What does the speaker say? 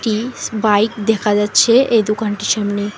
ইস bike দেখা যাচ্ছে এই দুকানটির সামনে।